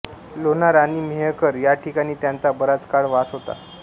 लोणार आणि मेहकर याठिकाणी त्यांचा बराच काळ वास होता